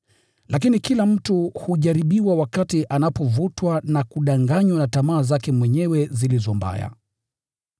Lakini kila mtu hujaribiwa wakati anapovutwa na kudanganywa na tamaa zake mwenyewe zilizo mbaya.